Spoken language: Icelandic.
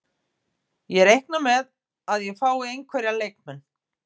Ég reikna með að ég fái einhverja leikmenn.